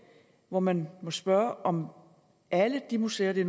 og man må spørge om alle de museer det